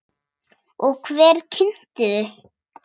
Og hver kynnti þau?